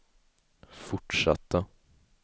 fortsatta